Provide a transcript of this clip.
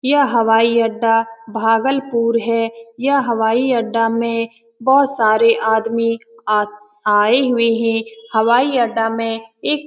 यह हवाई-अड्डा भागलपुर है यह हवाई अड्डा में बहुत सारे आदमी आ आए हुए हैं हवाई अड्डा में एक --